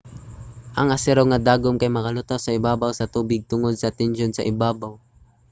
ang asero nga dagom kay makalutaw sa ibabaw sa tubig tungod sa tensyon sa ibabaw